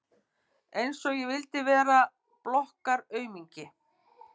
Einsog ég vildi vera blokkaraaumingi!